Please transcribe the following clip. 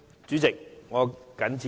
主席，我謹此陳辭。